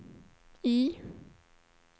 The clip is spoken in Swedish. I